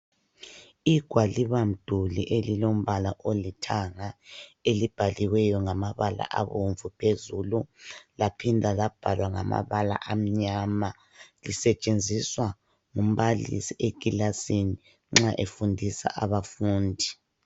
Igwalibamduli elilombala olithanga elibhaliweyo ngamabala abomvu phezulu laphinda labhalwa ngamabala amnyama lisetshenziswa ngumbalisi ekilasini nxa efundisa abafundi.